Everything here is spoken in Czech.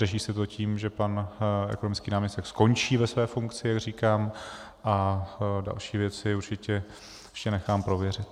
Řeší se to tím, že pan ekonomický náměstek skončí ve své funkci, jak říkám, a další věci určitě ještě nechám prověřit.